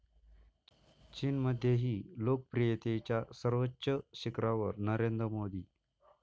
चीनमध्येही लोकप्रियतेच्या सर्वोच्च शिखरावर नरेंद्र मोदी